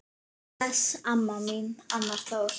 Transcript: Bless, amma mín, Arnar Þór.